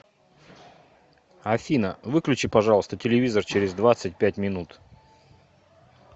афина выключи пожалуйста телевизор через двадцать пять минут